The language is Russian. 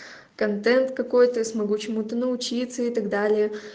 контент какой-то смогу чему-то научиться и так далее